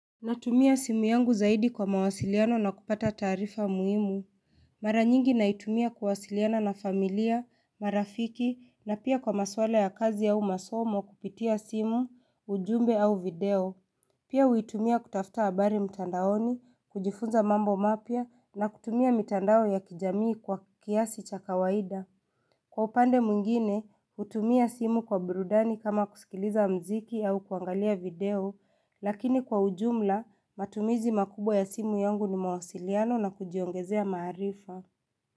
Natumia simu yangu zaidi kwa mawasiliano na kupata taarifa muhimu Mara nyingi naitumia kuwasiliana na familia, marafiki na pia kwa maswala ya kazi au masomo kupitia simu, ujumbe au video Pia huitumia kutafuta habari mtandaoni, kujifunza mambo mapya na kutumia mitandao ya kijamii kwa kiasi cha kawaida Kwa upande mwingine, hutumia simu kwa burudani kama kusikiliza muziki au kuangalia video, lakini kwa ujumla, matumizi makubwa ya simu yangu ni mawasiliano na kujiongezea maarifa.